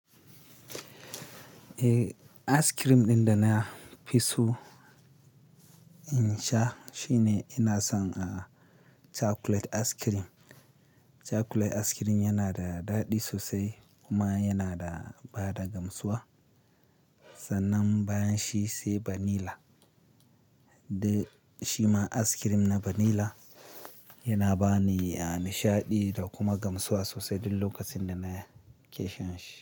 Eh, ice cream ɗin da na fi so in sha shine ina son chocolate ice cream. Chocolate ice cream yana da daɗi sosai kuma yana da bada gamsuwa. Sannan bayan shi sai vanilla. Da shima ice cream na vanilla yana bani nishaɗi da kuma gamsuwa sosai duk lokacin da nake shan shi.